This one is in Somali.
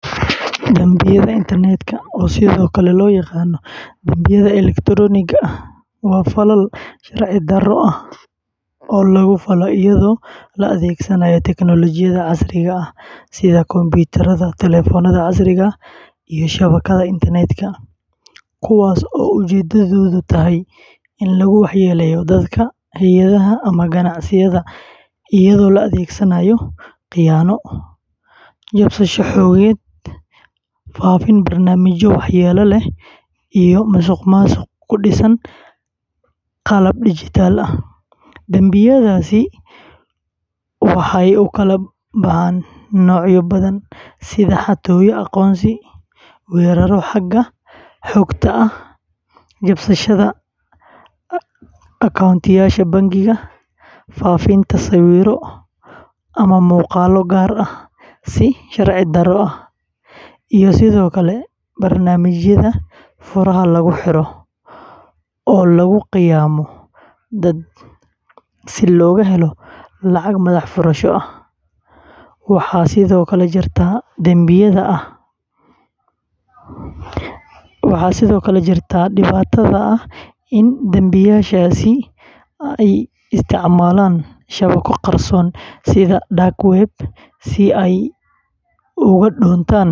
Dambiyada internetka, oo sidoo kale loo yaqaan dambiyada elektaroonigga ah, waa falal sharci-darro ah oo lagu falo iyadoo la adeegsanayo tiknoolajiyadda casriga ah sida kombiyuutarada, taleefannada casriga ah, iyo shabakadaha internetka, kuwaas oo ujeeddadoodu tahay in lagu waxyeelleeyo dadka, hay’adaha, ama ganacsiyada iyadoo la adeegsanayo khiyaano, jabsasho xogeed, faafinta barnaamijyo waxyeelo leh, iyo musuqmaasuq ku dhisan qalab dijitaal ah. Dambiyadaasi waxay u kala baxaan noocyo badan sida xatooyo aqoonsi, weerarro xagga xogta ah, jabsashada koontooyinka bangiyada, faafinta sawirro ama muuqaallo gaar ah si sharci-darro ah, iyo sidoo kale barnaamijyada furaha lagu xiro oo lagu khaa’imeeyo dad si looga helo lacag madax furasho ah. Waxaa sidoo kale jirta dhibaatada ah in dambiilayaashaasi ay isticmaalaan shabakado qarsoon sida dark web si ay uga dhuuntaan.